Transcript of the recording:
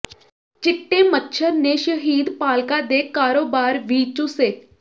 ਚਿੱਟੇ ਮੱਛਰ ਨੇ ਸ਼ਹਿਦ ਪਾਲਕਾਂ ਦੇ ਕਾਰੋਬਾਰ ਵੀ ਚੂਸੇ